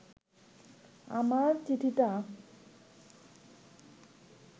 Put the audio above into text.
আমার চিঠিটা